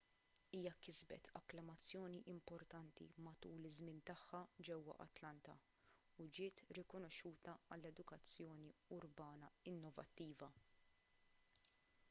hija kisbet akklamazzjoni importanti matul iż-żmien tagħha ġewwa atlanta u ġiet rikonoxxuta għal edukazzjoni urbana innovattiva